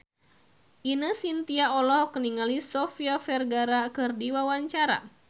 Ine Shintya olohok ningali Sofia Vergara keur diwawancara